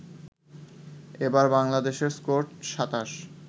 এবার বাংলাদেশের স্কোর ২৭